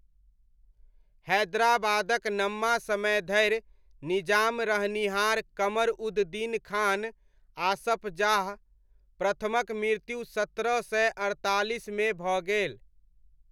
हैदराबादक नम्मा समय धरि निजाम रहनिहार कमर उद दीन खान, आसफ जाह प्रथमक मृत्यु सत्रह सय अड़तालिसमे भऽ गेल।